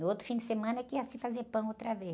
No outro fim de semana que ia se fazer pão outra vez.